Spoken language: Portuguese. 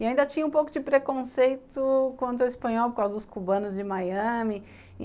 E ainda tinha um pouco de preconceito contra o espanhol por causa dos cubanos de Miami.